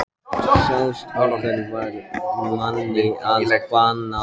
Sá strákur varð manni að bana.